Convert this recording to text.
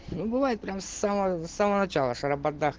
ну бывает прямо с самого самого начала